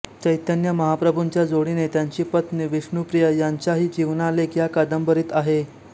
चैतन्य महाप्रभुंच्या जोडीने त्यांची पत्नी विष्णुप्रिया यांचाही जीवनालेख या कादंबरीत आहे